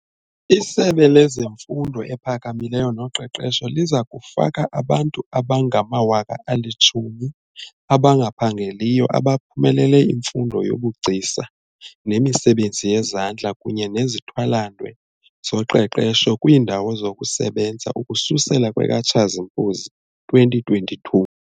ISebe leMfundo ePhakamileyo noQeqesho liza kufaka abantu abangama-10 000 abangaphangeliyo abaphumelele imfundo yobugcisa nemisebenzi yezandla kunye nezithwalandwe zoqeqesho kwiindawo zokusebenza ukususela kwekaTshazimpuzi 2022.